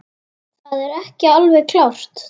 Það er ekki alveg klárt.